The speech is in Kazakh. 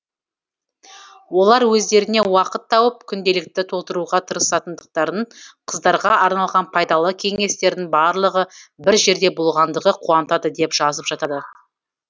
олар өздеріне уақыт тауып күнделікті толтыруға тырысатындықтарын қыздарға арналған пайдалы кеңестердің барлығы бір жерде болғандығы қуантады деп жазып жатады